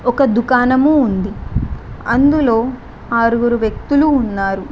ఒక దుకాణము ఉంది అందులో ఆరుగురు వ్యక్తులు ఉన్నారు.